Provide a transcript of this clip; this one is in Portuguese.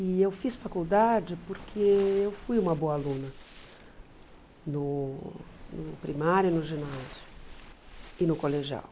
E eu fiz faculdade porque eu fui uma boa aluna no primário, no ginásio e no colegial.